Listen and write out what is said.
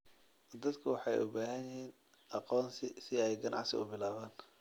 Dadku waxay u baahan yihiin aqoonsi si ay ganacsi u bilaabaan.